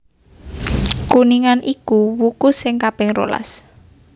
Kuningan iku wuku sing kaping rolas